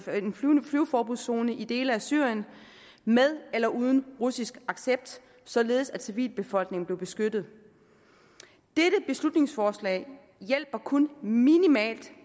flyveforbudszone i dele af syrien med eller uden russisk accept således at civilbefolkningen blev beskyttet dette beslutningsforslag hjælper kun minimalt